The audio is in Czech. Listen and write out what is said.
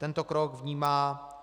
Tento krok vnímá